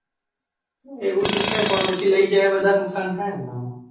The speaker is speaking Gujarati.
આવું તો છે પણ પછી લય જાય તો વધારે નુકસાન થાય ને